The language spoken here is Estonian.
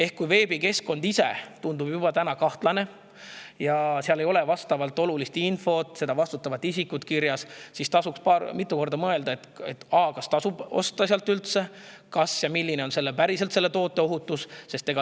Kui juba veebikeskkond tundub kahtlane ja seal ei ole vastavat olulist infot, seda vastutavat isikut kirjas, siis tasub mitu korda mõelda, kas tasub sealt üldse osta ja milline on päriselt selle toote ohutus.